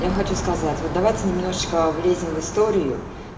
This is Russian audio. я хочу сказать вот давайте немножечко влезем в историю